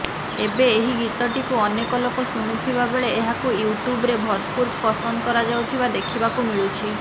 ଏବେ ଏହି ଗୀତଟିକୁ ଅନେକ ଲୋକ ଶୁଣୁଥିବା ବେଳେ ଏହାକୁ ୟୁଟ୍ୟୁବରେ ଭରପୁର ପସନ୍ଦ କରାଯାଉଥିବା ଦେଖିବାକୁ ମିଳୁଛି